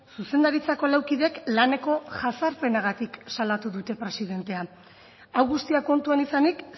zuzendaritzako lau kideek laneko jazarpenagatik salatu ditu presidentea hau guztia kontuan izanik